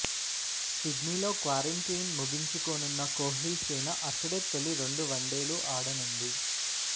సిడ్నీలో క్వారంటైన్ ముగించుకోనున్న కోహ్లిసేన అక్కడే తొలి రెండు వన్డేలు ఆడనుంది